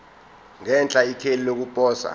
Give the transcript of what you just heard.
ngenhla ikheli lokuposa